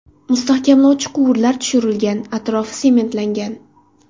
Mustahkamlovchi quvurlar tushirilgan, atrofi sementlangan.